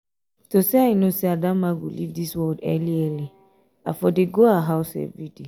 if to say i know say adamma go leave dis world early early i for dey go her house everyday